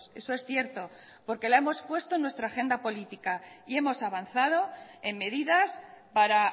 eso es cierto porque la hemos puesto en nuestra agenda política y hemos avanzado en medidas para